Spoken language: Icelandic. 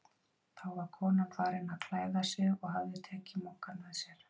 Þá var konan farin að klæða sig og hafði tekið Moggann með sér.